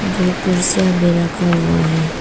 दो कुर्सियां भी रखा हुआ है।